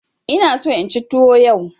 Ina so inci tuwo yau.